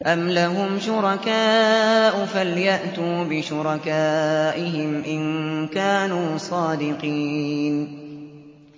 أَمْ لَهُمْ شُرَكَاءُ فَلْيَأْتُوا بِشُرَكَائِهِمْ إِن كَانُوا صَادِقِينَ